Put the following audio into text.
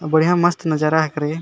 और बढ़िया मस्त नजर हाकरे।